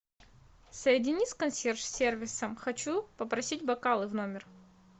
соедини с консьерж сервисом хочу попросить бокалы в номер